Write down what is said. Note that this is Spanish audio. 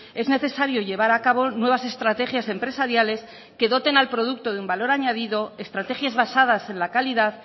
es necesario llevar a cabo nuevas estrategias empresariales que doten al producto de un valor añadido estrategias basadas en la calidad